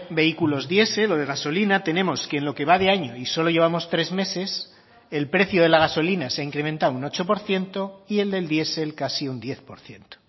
vehículos diesel o de gasolina tenemos que en lo que va de año y solo llevamos tres meses el precio de la gasolina se ha incrementado un ocho por ciento y el del diesel casi un diez por ciento